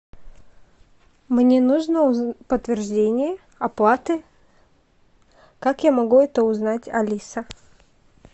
мне нужно подтверждение оплаты как я могу это узнать алиса